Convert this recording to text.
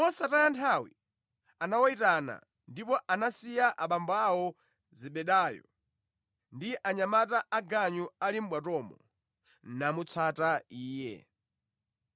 Mosataya nthawi anawayitana, ndipo anasiya abambo awo Zebedayo ndi anyamata aganyu ali mʼbwatomo, namutsata Iye.